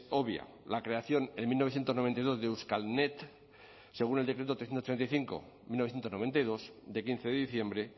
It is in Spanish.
obvia la creación en mil novecientos noventa y dos de euskalnet según el decreto trescientos ochenta y cinco barra mil novecientos noventa y dos de quince de diciembre